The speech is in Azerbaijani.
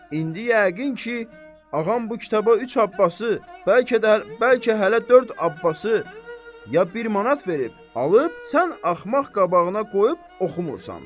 İndi yəqin ki, ağam bu kitaba üç Abbasi, bəlkə də hələ dörd Abbasi, ya bir manat verib, alıb, sən axmaq qabağına qoyub oxumursan.